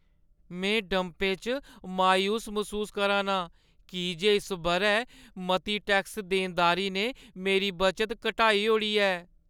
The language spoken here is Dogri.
में डंपें च मायूस मसूस करा ना आं की जे इस बʼरै मती टैक्स देनदारी ने मेरी बचत घटाई ओड़ी ऐ।